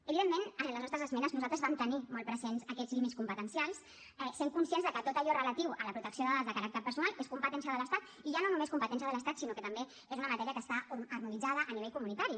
evidentment a les nostres esmenes nosaltres vam tenir molt presents aquests límits competencials sent conscients de que tot allò relatiu a la protecció de dades de caràcter personal és competència de l’estat i ja no només competència de l’estat sinó que també és una matèria que està harmonitzada a nivell comunitari